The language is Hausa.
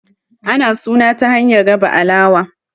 ana suna ta hanyar raba alawa